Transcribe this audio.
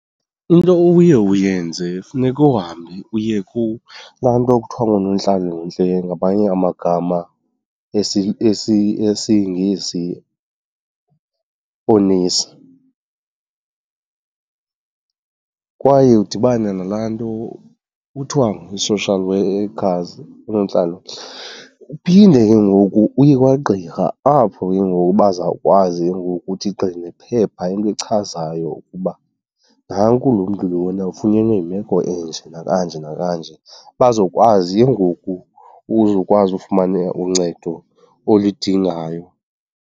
Into oye uyenze funeka uhambe uye kulaa nto kuthiwa ngunontlalontle, ngamanye amagama esiNgesi oonesi. Kwaye udibane nalaa nto kuthiwa yi-social workers, oonontlalontle. Uphinde ke ngoku uye kwagqirha apho ke ngoku bazawukwazi ke ngoku uthi qgi ngephepha, into echazayo ukuba nanku loo mntu lona ufunyenwe yimeko enje nakanje nakanje, bazokwazi ke ngoku uzokwazi ufumana uncedo olidingayo.